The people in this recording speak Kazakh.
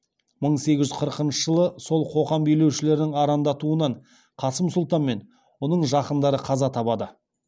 мың сегіз жүз қырықыншы жылы сол қоқан билеушілерінің арандатуынан қасым сұлтан мен оның жақындары қаза табады